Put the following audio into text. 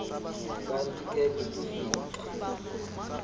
kanti ke kukufika